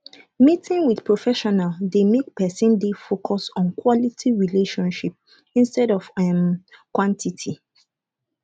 meeting with professional dey make person dey focus on quality relationship instead of um quantity